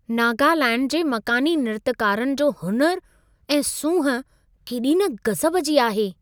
नागालैण्ड जे मक़ानी नृत्यकारनि जो हुनुर ऐं सूंहं केॾी न गज़ब जी आहे।